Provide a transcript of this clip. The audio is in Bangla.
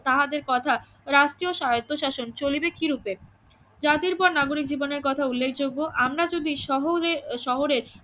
তাহাদের কথা রাষ্ট্রীয় স্বায়ত্বশাসন চলিবে কিরুপে? যাদের পর নাগরিক জীবনের কথা উল্লেখযোগ্য আমারা যদি সহলে শহরের